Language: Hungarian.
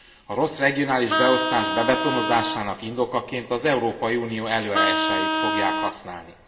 A rossz regionális beosztás bebetonozásának indokaként az Európai Unió előírásait fogják használni.